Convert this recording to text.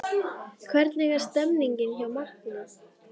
Hvernig er stemningin hjá Magna?